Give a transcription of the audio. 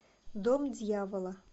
дом дьявола